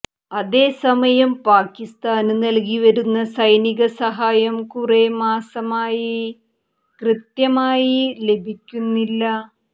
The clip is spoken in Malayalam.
അതേസമയം പാക്കിസ്ഥാന് നല്കിവരുന്ന സൈനിക സഹായം കൂറെ മാസമായി കൃത്യമായി ലഭിക്കുന്നില്ല